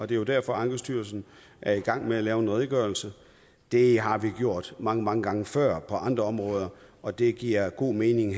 det er jo derfor at ankestyrelsen er i gang med at lave en redegørelse det har vi gjort mange mange gange før på andre områder og det giver god mening